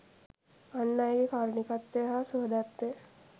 අන් අයගේ කාරුණිකත්වය හා සුහදත්වය